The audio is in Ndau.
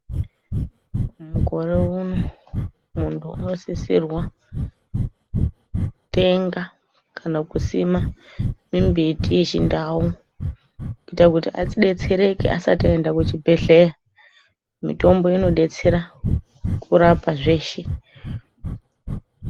Mukore uno muntu unosisirwa kutenga kana kusima mimbiti yechindau kuita kuti adetsereke asati ayenda kuchibhedhleya mitombo inodetsera kurapa zvese.